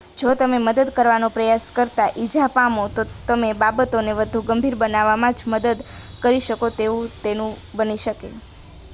જો તમે મદદ કરવાનો પ્રયાસ કરતા ઈજા પામો તો તમે બાબતોને વધુ ગંભીર બનાવવામાં જ મદદ કરી શકો તેવું બની શકે